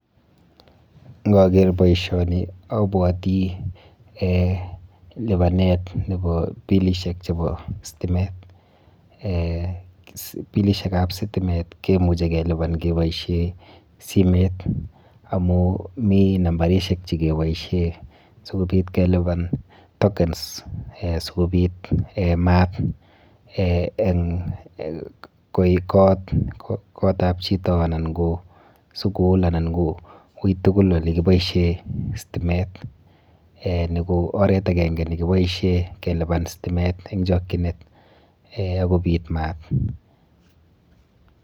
Ng'okeer boishoni obwotii eeh libanet neboo bilishek cheboo sitimet, eeh bilishekab sitimet kimuche keboishen simoit amun mii nambarishek chekeboishen sikobiit keliban tokens eeh sikobit eeh maat, koik kootab chito anan ko sukul anan ko kiit tukul nekiboishen sitimet, nii ko oreet akeng'e nekiboishen keliban sitimet en chokyinet akobit maat.